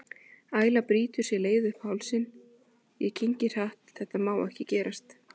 Æla brýtur sér leið upp í hálsinn, ég kyngi hratt, þetta má ekki gerast.